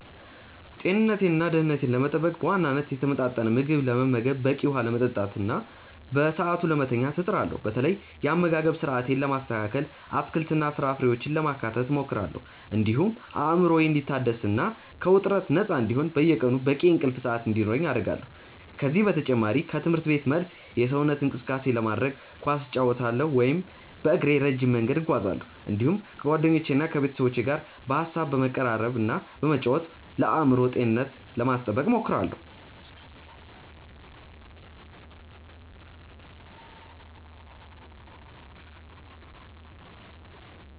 ጤንነቴንና ደኅንነቴን ለመጠበቅ በዋናነት የተመጣጠነ ምግብ ለመመገብ፣ በቂ ውኃ ለመጠጣትና በሰዓቱ ለመተኛት እጥራለሁ። በተለይ የአመጋገብ ስርአቴን ለማስተካከል አትክልትና ፍራፍሬዎችን ለማካተት እሞክራለሁ፤ እንዲሁም አእምሮዬ እንዲታደስና ከውጥረት ነፃ እንዲሆን በየቀኑ በቂ የእንቅልፍ ሰዓት እንዲኖረኝ አደርጋለሁ። ከዚህ በተጨማሪ ከትምህርት ቤት መልስ የሰውነት እንቅስቃሴ ለማድረግ ኳስ እጫወታለሁ ወይም በእግሬ ረጅም መንገድ እጓዛለሁ፤ እንዲሁም ከጓደኞቼና ከቤተሰቦቼ ጋር በሐሳብ በመቀራረብና በመጫወት ለአእምሮ ጤንነቴ ለማስጠበቅ እሞክራለሁ።